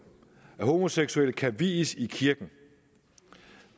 at homoseksuelle kan vies i kirken